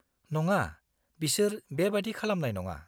-नङा, बिसोर बेबादि खालामनाय नङा।